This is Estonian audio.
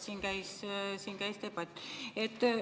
Sellepärast, et siin käis debatt.